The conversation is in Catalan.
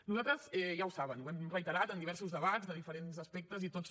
nosaltres ja ho saben ho hem reiterat en diversos debats de diferents aspectes i tots